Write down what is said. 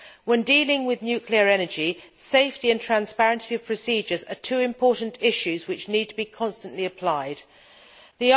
When dealing with nuclear energy, safety and the transparency of procedures are two important issues which need to be constantly attended to.